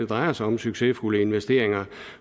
drejer sig om succesfulde investeringer